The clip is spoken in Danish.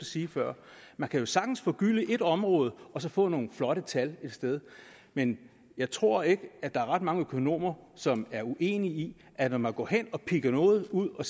sige før man kan jo sagtens forgylde ét område og så få nogle flotte tal et sted men jeg tror ikke at der er ret mange økonomer som er uenige i at når man går hen og piller noget ud og